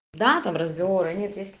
да там разговора нет есть